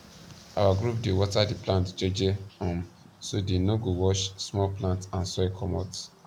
our group dey water the plant jeje um so dey no go wash small plant and soil comot